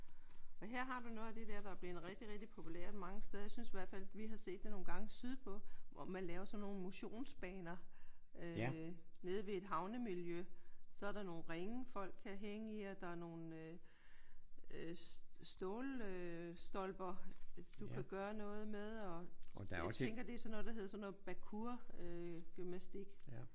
Og her har du noget af det dér der er blevet rigtig populært. Jeg synes i hvert fald vi har set det nogle gange sydpå hvor man laver sådan nogle motionsbaner nede ved et havnemiljø. Så er der nogle ringe folk kan hænge i og der er nogle øh stålstolper du kan gøre noget med og jeg tænker det er sådan noget der hedder sådan noget parkourgymnastik